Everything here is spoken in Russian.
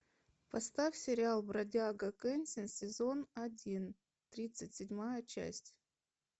поставь сериал бродяга кэнсин сезон один тридцать седьмая часть